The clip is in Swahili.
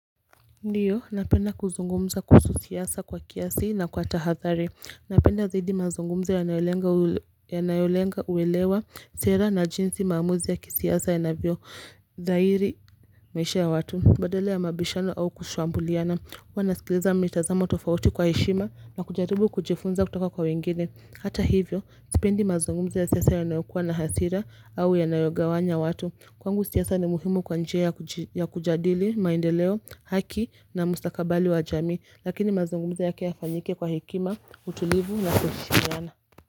Ndiyo, napenda kuzungumza kuhusu siasa kwa kiasi na kwa tahadhari. Napenda zaidi mazungumzo yanayolenga yanayolenga huelewa sera na jinsi maamuzi ya kisiasa yanavyo dairi maisha ya watu. Badala ya mabishano au kushambuliana. Kuwa nasikiliza mitazamo tofauti kwa heshima na kujaribu kujifunza kutoka kwa wengine. Hata hivyo, sipendi mazungumzo ya siasa yanayokua na hasira au yanayogawanya watu. Kwangu siasa ni muhimu kwa njia ya kujadili maendeleo haki na mustakabali wa jamii, lakini mazangumuzo yake ya fanyike kwa hikima utulivu na kuheshimiana.